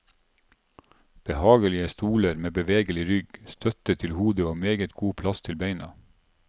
Behagelige stoler med bevegelig rygg, støtte til hodet og meget god plass til beina.